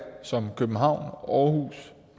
som københavn århus